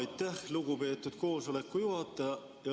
Aitäh, lugupeetud koosoleku juhataja!